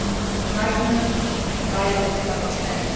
Incitement and violence must end.